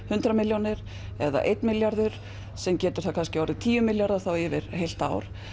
hundrað milljónir eða einn milljarður sem getur orðið tíu milljarðar yfir heilt ár